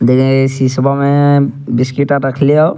देख इ शीशवा में बिस्किट रखले हउ।